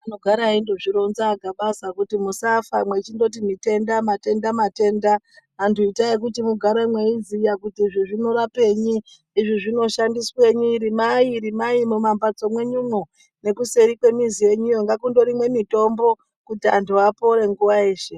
Anogara eindozvironza AGabaza kuti musafa mwechindoti mitenda matenda matenda. Antu itai kuti mugare mweiziya kuti izvi zvinorapenyi izvi zvinoshandiswenyi. Rimai rimai mumambatso mwenyumwo nekuseri kwemizi yenyuyo ngakundorimwe mitombo kuti antu apore nguwa yeshe.